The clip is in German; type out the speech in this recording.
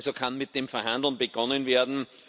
Also kann mit dem Verhanden begonnen werden.